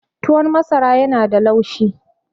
tuwon masara yana da laushi